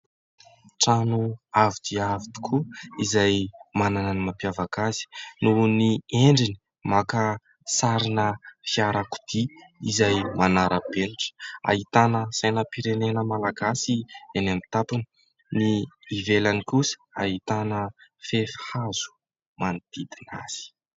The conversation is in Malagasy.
Trano avo dia avo tokoa izay manana ny mampiavaka azy noho ny endriny maka sarina fiarakodia izay manara-penitra. Ahitana sainam-pirenena malagasy eny amin'ny tampony. Ny ivelany kosa ahitana fefy hazo manodidina azy.